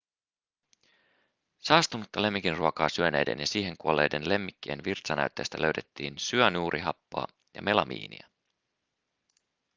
saastunutta lemmikinruokaa syöneiden ja siihen kuolleiden lemmikkien virtsanäytteistä löydettiin syanuurihappoa ja melamiinia